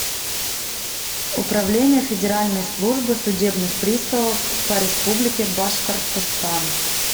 управление федеральной службы судебных приставов по республике башкортостан